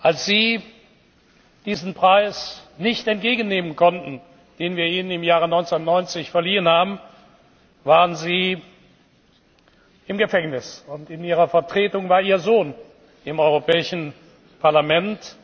Als Sie diesen Preis nicht entgegennehmen konnten, den wir Ihnen im Jahr 1990 verliehen haben, waren Sie im Gefängnis, und in Ihrer Vertretung war Ihr Sohn im Europäischen Parlament.